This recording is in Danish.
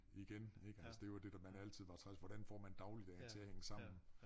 Igen ik altså det jo det der man altid var træls hvordan får man dagligdagen til at hænge sammen